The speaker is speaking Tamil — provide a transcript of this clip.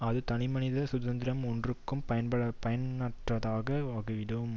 அந்த தனிமனிதனது சுதந்திரம் ஒன்றுக்கும் பயனற்றதாக ஆகிவிடும்